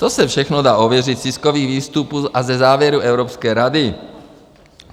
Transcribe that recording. To se všechno dá ověřit z tiskových výstupů a ze závěrů Evropské rady.